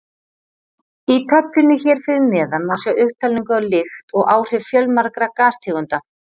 Í töflunni hér fyrir neðan má sjá upptalningu á lykt og áhrif fjölmargra gastegunda.